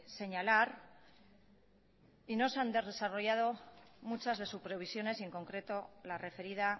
señalar y no se han desarrollado muchas de sus previsiones y en concreto la referida